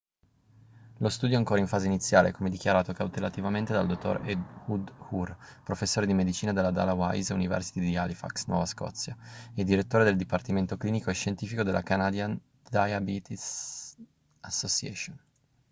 lo studio è ancora in fase iniziale come dichiarato cautelativamente dal dottor ehud ur professore di medicina alla dalhousie university di halifax nuova scozia e direttore del dipartimento clinico e scientifico della canadian diabetes association